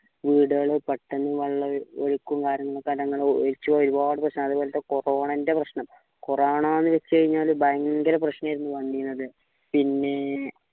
വീടുകള് പെട്ടെന്ന് വെള്ളം കാര്യങ്ങളൊക്കെ corona ൻ്റെ പ്രശ്‌നം corona ന്ന് വെച്ചു കഴിനാൽ ഭയങ്കര പ്രശ്നേർന്ന് വന്നീനത് പിന്നേ